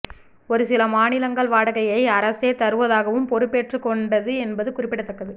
ஒரு சில மாநிலங்கள் வாடகையை அரசே தருவதாகவும் பொறுப்பேற்றுக் கொண்டது என்பது குறிப்பிடத்தக்கது